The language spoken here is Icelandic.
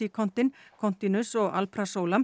oxycontin continus og